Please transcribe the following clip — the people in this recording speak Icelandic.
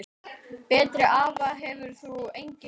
Betri afa hefur enginn átt.